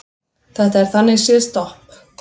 Þetta er þannig séð stopp